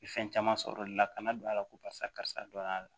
Fɛn caman sɔrɔ o de la kana don a la ko karisa karisa don a la